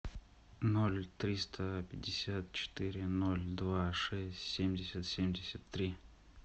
ноль триста пятьдесят четыре ноль два шесть семьдесят семьдесят три